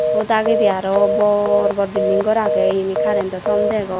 u dagendi aro bor bor building gor age yani currento tomb degong.